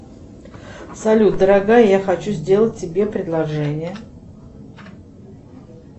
салют дорогая я хочу сделать тебе предложение